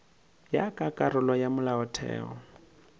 ya ka karolo ya molaotheo